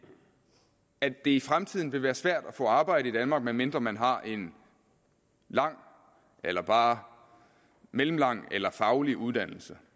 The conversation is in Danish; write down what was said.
at det i fremtiden vil være svært at få arbejde i danmark medmindre man har en lang eller bare mellemlang eller faglig uddannelse